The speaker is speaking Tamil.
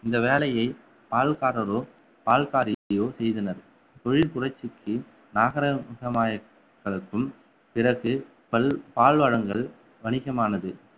இந்த வேலையை பால்காரரோ பால்காரியோ செய்தனர் தொழில் புரட்சிக்கு நாகரீகம் பிறகு பல்~ பால் வளங்கள் வணிகமானது